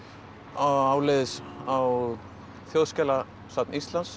áleiðis á Þjóðskjalasafn Íslands